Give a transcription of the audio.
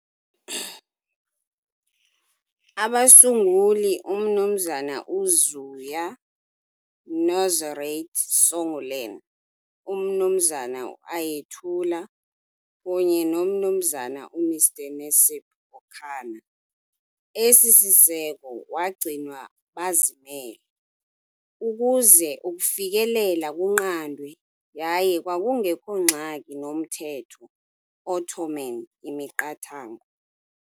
Abasunguli uMnu Ziya Nurizade Songülen, uMnu Ayetullah kunye noMnu Mr Necip Okaner. Esi siseko Wagcinwa bazimele, ukuze ukufikelela kunqandwe yaye kwakungekho ngxaki nomthetho Ottoman imiqathango.